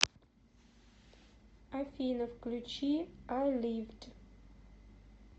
афина включи ай ливд